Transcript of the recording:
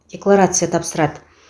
декларация тапсырады